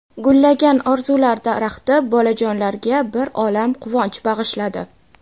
Gullagan "Orzular daraxti" bolajonlarga bir olam quvonch bag‘ishladi.